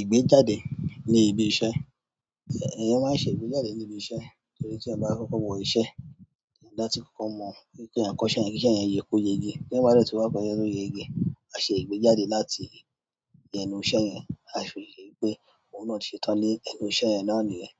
Ìgbéjáde ní ibi iṣẹ́. Ẹ̀yẹn máa ń ṣe ìgbéjáde ní ibi iṣẹ́ torí tí a bá fọ́wọ́ iṣẹ́, ìdátí kọ̀kan mọ̀ wípé a ń kọ iṣẹ́ yẹn kí iṣẹ́ yẹn yíko yege. Lẹ́yìn bá dọ̀tí wá pẹ́lú ẹni tó ń yẹ ìgbẹ́, a ṣe ìgbéjáde láti yẹn inú iṣẹ́ yẹn. A fi ye pé òun náà ti ṣe tán ní ẹnu iṣẹ́ yẹn náà nìyẹn.